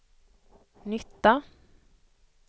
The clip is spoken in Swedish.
nytta